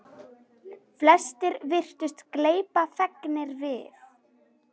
Flestir virtust gleypa fegnir við.